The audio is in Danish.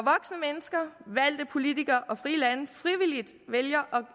mennesker valgte politikere og frie lande frivilligt vælger